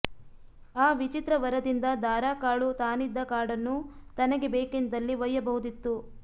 ಆ ವಿಚಿತ್ರ ವರದಿಂದ ದಾರುಕಾಳು ತಾನಿದ್ದ ಕಾಡನ್ನು ತನಗೆ ಬೇಕೆಂದಲ್ಲಿ ಒಯ್ಯಬಹುದಿತ್ತು